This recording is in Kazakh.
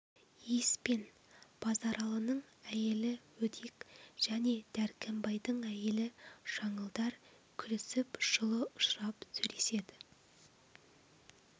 иіс пен базаралының әйелі өдек және дәркембайдың әйелі жаңылдар күлісіп жылы ұшырап сөйлеседі